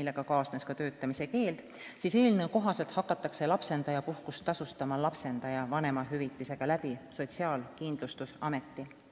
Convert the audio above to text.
millega kaasnes ka töötamise keeld, siis eelnõu kohaselt hakatakse lapsendajapuhkust tasustama lapsendaja vanemahüvitisega Sotsiaalkindlustusameti kaudu.